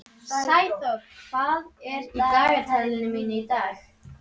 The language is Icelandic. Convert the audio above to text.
Sæþór, hvað er í dagatalinu mínu í dag?